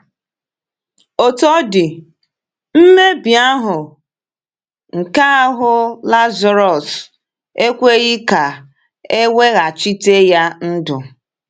Otú ọ dị, mmebi ahụ́ nke ahụ̀ Lazarus ekweghị ka e weghachite ya ndụ.